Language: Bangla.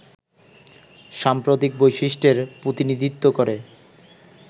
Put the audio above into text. সাম্প্রতিক বৈশিষ্ট্যের প্রতিনিধিত্ব করে